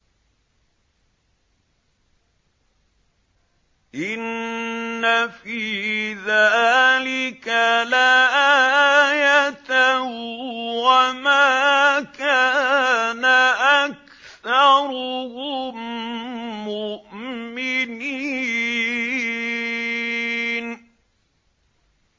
إِنَّ فِي ذَٰلِكَ لَآيَةً ۖ وَمَا كَانَ أَكْثَرُهُم مُّؤْمِنِينَ